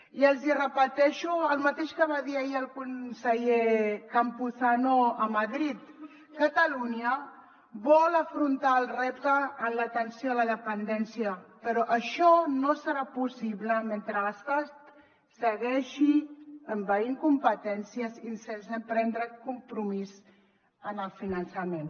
i els hi repeteixo el mateix que va dir ahir el conseller campuzano a madrid catalunya vol afrontar el repte en l’atenció a la dependència però això no serà possible mentre l’estat segueixi envaint competències i sense prendre compromís en el finançament